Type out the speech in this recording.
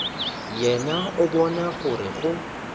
yena o bona gore go